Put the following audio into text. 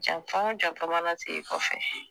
Janfa o janfa manan ta i kɔfɛ